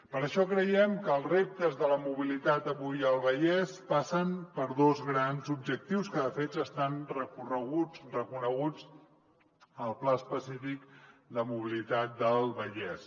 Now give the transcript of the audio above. per això creiem que els reptes de la mobilitat avui al vallès passen per dos grans objectius que de fet ja estan reconeguts al pla específic de mobilitat del vallès